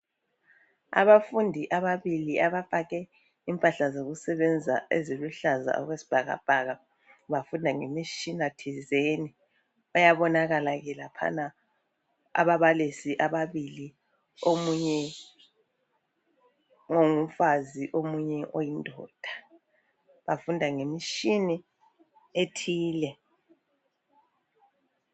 Abafundi ababili abagqoke impahla zokusebenza eziluhlaza okwesibhakabhaka bafunda ngemitshina thizeni. Bayabonakala ke laphana ababalisi ababili omunye ongumfazi, omunye oyindoda. Bafunda ngemitshina ethile.